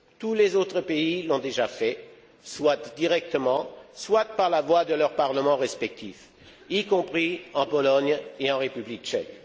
Tous les autres pays l'ont déjà fait, soit directement, soit par la voix de leurs parlements respectifs, y compris en Pologne et en République tchèque.